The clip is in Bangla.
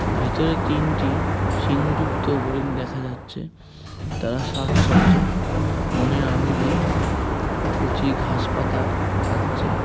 ভিতরে তিনটি সিং যুক্ত হরিণ দেখা যাচ্ছে । তার সাচ্ছচ মনের আনন্দে কচি ঘাস পাতা খাচ্ছে।